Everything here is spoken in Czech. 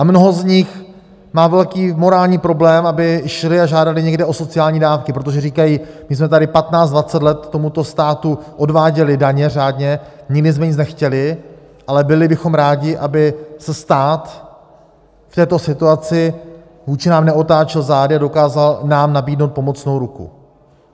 A mnoho z nich má velký morální problém, aby šli a žádali někde o sociální dávky, protože říkají, my jsme tady 15-20 let tomuto státu odváděli daně řádně, nikdy jsme nic nechtěli, ale byli bychom rádi, aby se stát v této situaci vůči nám neotáčel zády a dokázal nám nabídnout pomocnou ruku.